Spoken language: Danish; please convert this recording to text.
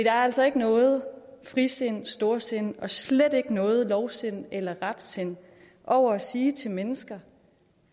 er altså ikke noget frisind eller storsind og slet ikke noget lovsind eller retsind over at sige til mennesker